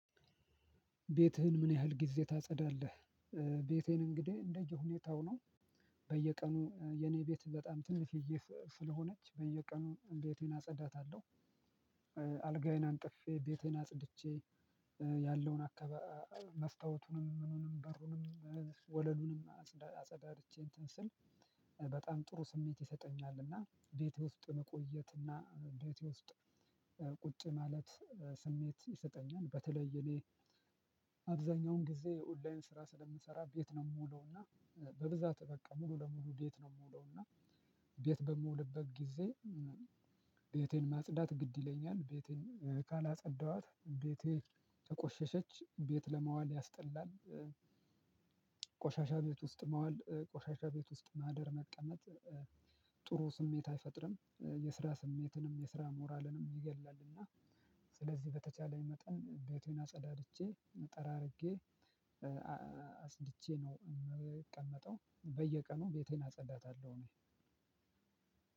ቤትህን ምን ያህል ጊዜ ታጸዳለህ? ቤቴን እንግዲህ እንደየሁኔታው ነው። በየቀኑ የኔ ቤት በጣም ትንሽዬ ስለሆነች በየቀኑ ቤቴን አጸዳታለሁ። አልጋዬን አንጥፌ ቤቴን አጽድቼ ያለውን አካ መስታወቱንም ምኑንም በሩንም ወለሉንም አጸዳድቼ እንትን ስል። በጣም ጥሩ ስሜት ይሰጠኛል እና ቤት ውስጥ መቆየት እና ቤት ውስጥ ቁጭ ማለት ስሜት ይሰጠኛል። በተለይ እኔ አብዛኛውን ጊዜ የኦንላይን ስራ ስለምሰራ ቤት ነው የምውለው እና። በብዛት በቃ ሙሉ ለሙሉ ቤት ነው ምውለው እና። ቤት በምውልበት ጊዜ ቤቴን ማጽዳት ግድ ይለኛል ቤቴን ካላጸዳኋት ቤቴ ተቆሸሸች ቤት ለማዋል ያስጠላል። ቆሻሻ ቤት ውስጥ መዋል ቆሻሻ ቤት ውስጥ ማደር መቀመጥ። ጥሩ ስሜት አይፈጥርም የስራ ስሜትንም የስራ ሞራልንም ይገድላልና። ስለዚህ በተቻለ መጠን ቤቴን አጸዳድቼ ጠራርጌ አጽድቼ ነው እምቀመጠው። በየቀኑ ቤቴን አጸዳታለሁ እኔ።